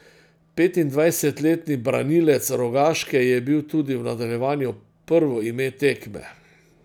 Petindvajsetletni branilec Rogaške je bil tudi v nadaljevanju prvo ime tekme.